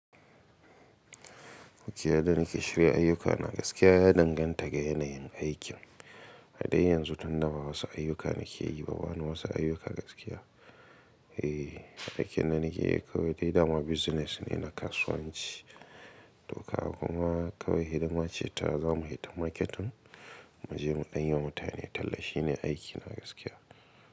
Yadda da nake shirya ayyukana gaskiya ya danganta ga yanayin aikin. A dai yanzu tunda ba wasu ayyuka nake yi ba, ba wani wasu ayyuka gaskiya. Ey, aikin da nake yi kawai dai dama business ne na kasuwanci. Toka kuma kawai idan mace ta zamu yi ta marketin, mu je mu ɗanyewa mutane tallafi ne aikina gaskiya.